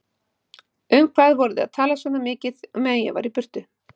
Um hvað voruð þið að tala svona mikið meðan ég var í burtu?